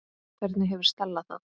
Hvernig hefur Stella það?